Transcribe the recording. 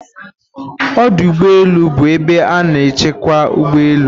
ọdụ ụgbọ elu bụ ebe a na-echekwa ụgbọ elu